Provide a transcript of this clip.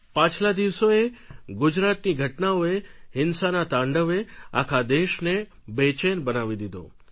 પાછલા દિવસોએ ગુજરાતની ઘટનાઓએ હિંસાના તાંડવે આખા દેશને બેચેન બનાવી દીધો